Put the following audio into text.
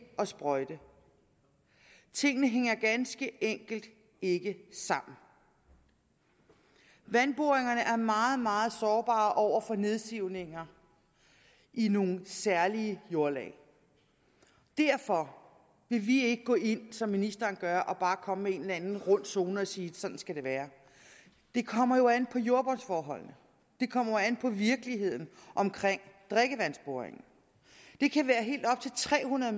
at sprøjte tingene hænger ganske enkelt ikke sammen vandboringerne er meget meget sårbare over for nedsivninger i nogle særlige jordlag derfor vil vi ikke gå ind som ministeren gør og bare komme med en eller anden rund zone og sige at sådan skal det være det kommer jo an på jordbundsforholdene det kommer jo an på virkeligheden omkring drikkevandsboringen det kan være helt op til tre hundrede